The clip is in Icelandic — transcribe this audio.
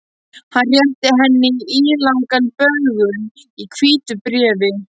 Hann rétti henni ílangan böggul í hvítu bréfi.